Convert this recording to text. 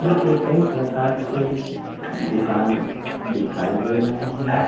यहां पे कई प्रकार के दुकान दिखाई दे रहे हैं।